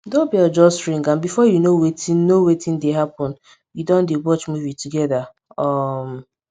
doorbell just ring and before you know wetin know wetin dey happen we don dey watch movie together um